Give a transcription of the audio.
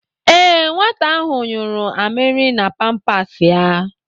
Ee, Nwata ahụ yụrụ amịrị na pampas ya.